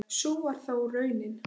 Sú varð þó raunin.